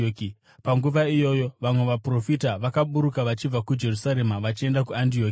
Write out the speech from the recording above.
Panguva iyoyo vamwe vaprofita vakaburuka vachibva kuJerusarema vachienda kuAndioki.